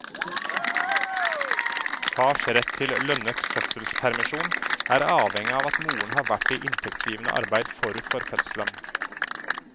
Fars rett til lønnet fødselspermisjon er avhengig av at moren har vært i inntektsgivende arbeid forut for fødselen.